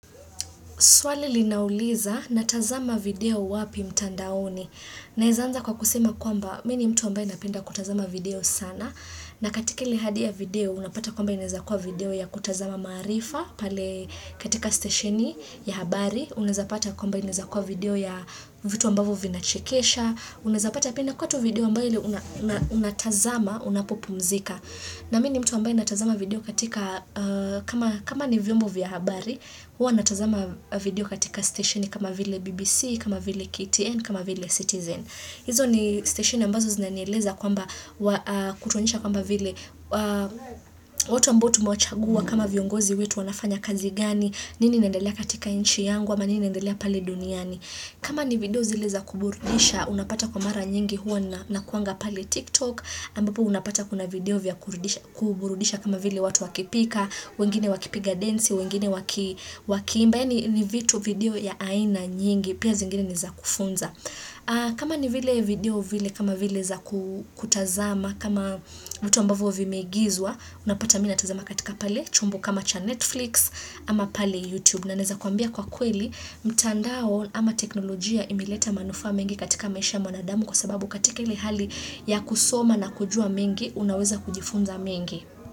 Swali linauliza, natazama video wapi mtandaoni? Naweza anza kwa kusema kwamba, mimi ni mtu ambaye napenda kutazama video sana. Na katika ile hadi ya video, unapata kwamba inaweza kuwa video ya kutazama maarifa. Pale katika stesheni ya habari, unaweza pata kwamba inaweza kuwa video ya vitu ambavyo vinachekesha. Unaweza pata pia inakuwa tu video ambayo ndiyo unatazama unapopumzika. Na mimi ni mtu ambaye natazama video katika, kama kama ni vyombo vya habari, huwa natazama video katika stesheni kama vile BBC, kama vile KTN, kama vile Citizen. Hizo ni stesheni ambazo zinanieleza kwamba, kutuonyesha kwamba vile watu ambao tumechagua kama viongozi wetu wanafanya kazi gani, nini inaendelea katika nchi yangu, ama nini inandelea pale duniani. Kama ni video zile za kuburudisha, unapata kwa mara nyingi huwa nakuanga pale TikTok, ambapo unapata kuna video vya kuburudisha kama vile watu wakipika, wengine wakipiga densi, wengine waki wakiimba, yaani ni vitu video ya aina nyingi, pia zingine ni za kufunza. Kama ni vile video vile kama vile za kutazama kama vitu ambavyo vimeigizwa unapata mimi natazama katika pale chombo kama cha Netflix ama pale YouTube na naweza kuambia kwa kweli mtandao ama teknolojia imeleta manufaa mengi katika maisha ya mwanadamu kwa sababu katika ile hali ya kusoma na kujua mengi unaweza kujifunza mengi.